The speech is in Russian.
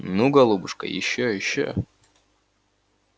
ну голубушка ещё ещё